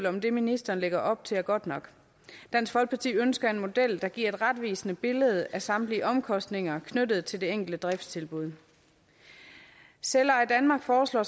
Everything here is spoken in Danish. om det ministeren lægger op til er godt nok dansk folkeparti ønsker en model der giver et retvisende billede af samtlige omkostninger knyttet til det enkelte driftstilbud selveje danmark foreslår